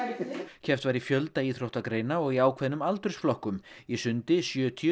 keppt var í fjölda íþróttagreina og í ákveðnum aldursflokkum í sundi sjötíu